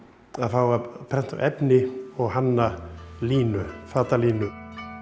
að fá að prenta á efni og hanna línu fatalínu